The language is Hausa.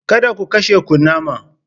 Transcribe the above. Kada ku kashe kunama!